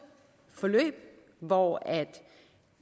forløb hvor